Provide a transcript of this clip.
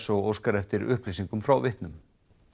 og óskar eftir upplýsingum frá vitnum